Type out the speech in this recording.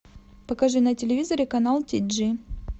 покажи на телевизоре канал ти джи